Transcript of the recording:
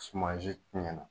Sumansi tiɲɛna